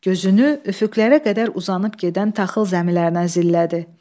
Gözünü üfüqlərə qədər uzanıb gedən taxıl zəmilərinə zillədi.